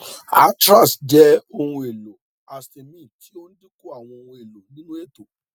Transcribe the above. atrax jẹ ohunelo histamine ti o dinku awọn ohunelo ninu eto